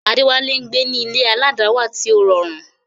Adewale ń gbé ní ilé aládàáwà tí ó rọrùn.